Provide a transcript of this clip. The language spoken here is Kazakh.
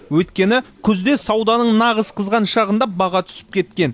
өйткені күзде сауданың нағыз қызған шағында баға түсіп кеткен